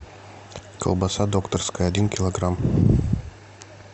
колбаса докторская один килограмм